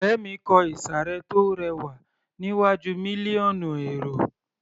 Ọ̀rẹ́ mi kò ìsàré tó rẹwà níwájú mílíọ̀nù èrò